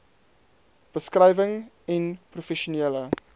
beskrywing n professionele